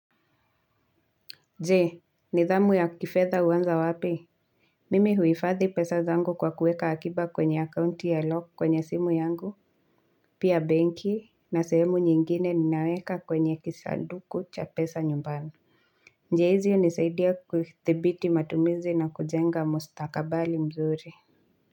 Je, nidhamu ya kifedha huanza wapi? Mimi huifadhi pesa zangu kwa kuweka akiba kwenye account ya lock kwenye simu yangu Pia benki na sehemu nyingine ninaweka kwenye kisanduku cha pesa nyumbani njia hizi hunisaidia kuthibiti matumizi na kujenga mustakabali mzuri.